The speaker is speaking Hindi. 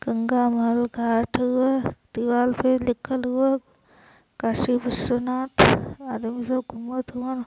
गंगा महल घाट हउवे दीवाल पर लिखल हउवे कशी विश्वनाथ आदमी सब घुमत हउवन।